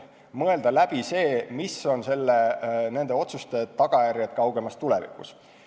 Tuleb mõelda läbi, mis on nende otsuste tagajärjed kaugemas tulevikus.